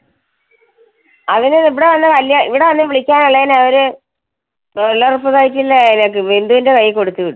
അതിന് ഇവിടെ വന്നു വെല്യ അഹ് ഇവിടെ വന്നു വിളിക്കാൻ ഉള്ളതിന് അവര് തൊഴിലുറപ്പു site ലെ ബിന്ദുന്റെ കൈയിൽ കൊടുത്തുവിട്ടു.